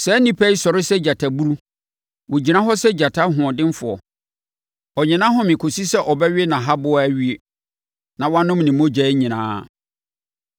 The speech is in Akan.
Saa nnipa yi sɔre sɛ gyataburu. Wɔgyina hɔ sɛ gyata hoɔdenfoɔ. Ɔnnye nʼahome kɔsi sɛ ɔbɛwe nʼahaboa awie na wanom ne mogya nyinaa!”